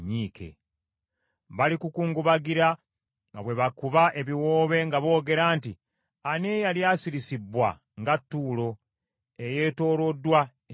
Balikukungubagira nga bwe bakuba ebiwoobe nga boogera nti, Ani eyali asirisibbwa nga Ttuulo eyeetooloddwa ennyanja?